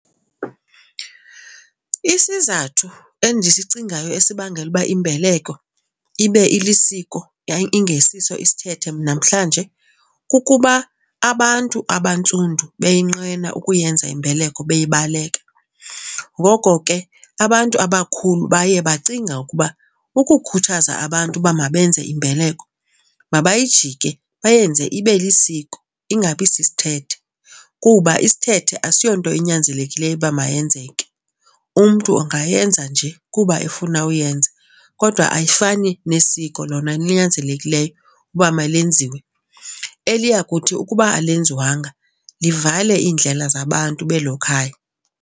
Isizathu endisicingayo esibangela uba imbeleko ibe ilisiko yaye ingesiso isithethe namhlanje kukuba abantu abantsundu beyonqena ukuyenza imbeleko beyibaleka. Ngoko ke abantu abakhulu baye bacinga ukuba ukukhuthaza abantu uba mabenze imbeleko mabayijike bayenze ibe lisiko ingabi sisithethe kuba isithethe asiyonto enyanzelekileyo uba mayenzeke, umntu angayenza nje kuba efuna uyenza. Kodwa ayifani nesiko lona linyanzelekileyo uba malenziwe eliya kuthi ukuba alenziwanga livale iindlela zabantu belo khaya.